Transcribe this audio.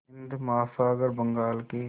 हिंद महासागर बंगाल की